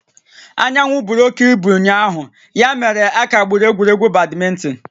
Anyanwụ buru oke ibu ụnyaahụ ya mere a kagburu egwuregwu badminton